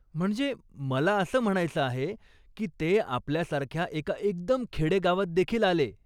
म्हणजे मला असं म्हणायचं आहे की ते आपल्यासारख्या एका एकदम खेडे गावात देखील आले.